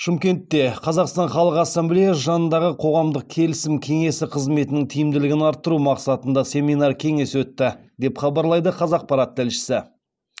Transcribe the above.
шымкентте қазақстан халқы ассамблеясы жанындағы қоғамдық келісім кеңесі қызметінің тиімділігін арттыру мақсатында семинар кеңес өтті деп хабарлайды қазақпарат тілшісі